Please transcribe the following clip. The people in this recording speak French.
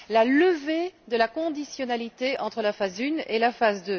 D'abord, la levée de la conditionnalité entre la phase 1 et la phase